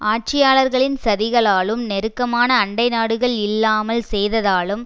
ஆட்சியாளர்களின் சதிகளாலும் நெருக்கமான அண்டை நாடுகள் இல்லாமல் செய்ததாலும்